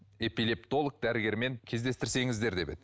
эпилептолог дәрігермен кездестірсеңіздер деп еді